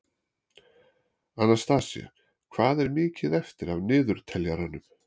Anastasía, hvað er mikið eftir af niðurteljaranum?